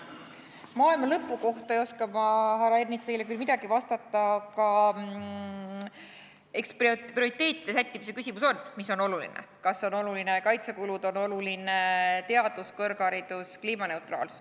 Maailma lõpu kohta ei oska ma, härra Ernits, teile küll midagi vastata, aga eks on prioriteetide sättimise küsimus, mis on oluline, kas on olulised kaitsekulud, on oluline teadus, kõrgharidus, kliimaneutraalsus.